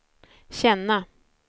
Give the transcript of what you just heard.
känna